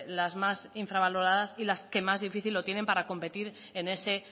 las más infravaloradas y las que más difícil lo tienen para competir en ese